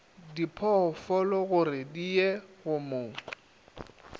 diphoofologore di ye go mo